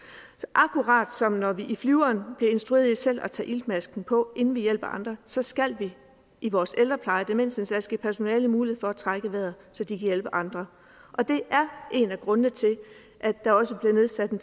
akkurat som når vi i flyveren bliver instrueret i selv at tage iltmasken på inden vi hjælper andre så skal vi i vores ældrepleje og demensindsats give personalet mulighed for at trække vejret så de kan hjælpe andre og det er en af grundene til at der også bliver nedsat en